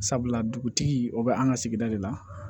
Sabula dugutigi o bɛ an ka sigida de la